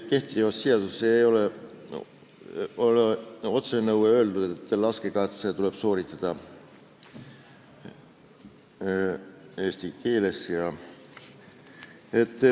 Kehtivas seaduses ei ole otsesõnu öeldud, et laskekatse tuleb sooritada eesti keeles.